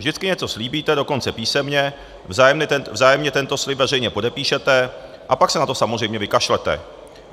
Vždycky něco slíbíte, dokonce písemně, vzájemně tento slib veřejně podepíšete, a pak se na to samozřejmě vykašlete.